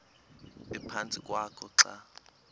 ephantsi kwakho xa